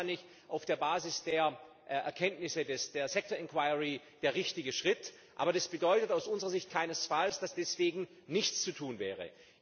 Das ist wahrscheinlich auf der Basis der Erkenntnisse der sector inquiry der richtige Schritt, aber das bedeutet aus unserer Sicht keinesfalls, dass deswegen nichts zu tun wäre.